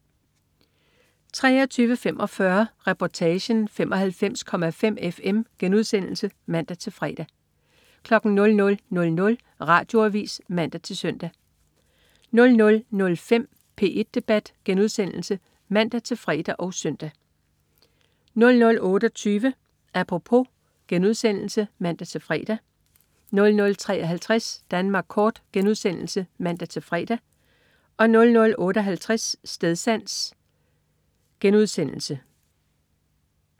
23.45 Reportagen: 95,5 FM* (man-fre) 00.00 Radioavis (man-søn) 00.05 P1 Debat* (man-fre og søn) 00.28 Apropos* (man-fre) 00.53 Danmark kort* (man-fre) 00.58 Stedsans*